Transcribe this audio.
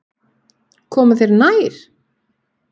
Koma þér þær eitthvað við?